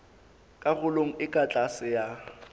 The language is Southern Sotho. karolong e ka tlase ya